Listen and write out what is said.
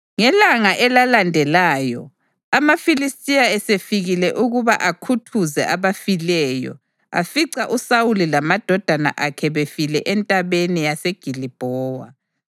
Ngelanga elalandelayo, amaFilistiya esefikile ukuba akhuthuze abafileyo, afica uSawuli lamadodana akhe befile eNtabeni yase Gilibhowa.